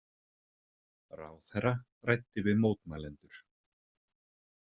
Ráðherra ræddi við mótmælendur